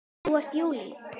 Það er JÚLÍ!